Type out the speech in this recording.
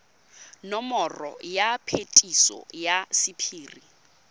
nomoro ya phetiso ya sephiri